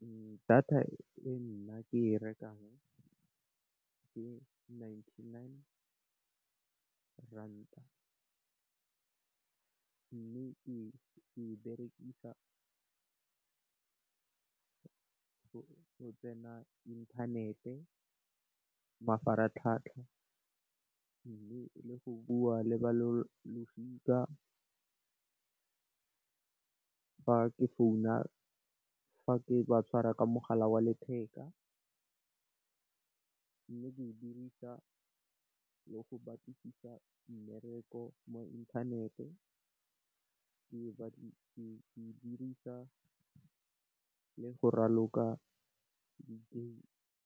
Data e nna ke e rekang ke Ninety-nine Rand. Mme, ke e berekisa go tsena inthanete, mafaratlhatlha mme, le go bua le balosika fa ke founa, fa ke ba tshwara ka mogala wa letheka. Mme, ke e dirisa le go batlisisa mmereko mo inthanete, ke e dirisa le go raloka digame.